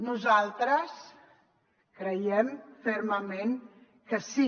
nosaltres creiem fermament que sí